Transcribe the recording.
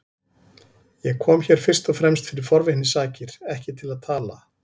Ég kom hér fyrst og fremst fyrir forvitni sakir, ekki til að tala.